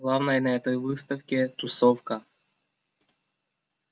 главное на этой выставке тусовка